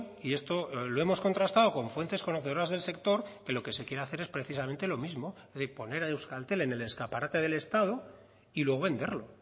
y esto lo hemos contrastado con fuentes conocedoras del sector que lo que se quiere hacer es precisamente lo mismo es decir poner a euskaltel en el escaparate del estado y luego venderlo